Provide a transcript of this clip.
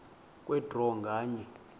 kwe draw nganye